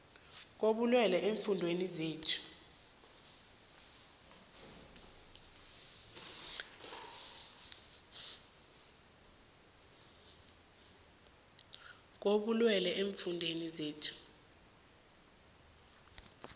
kobulwele eemfundeni zethu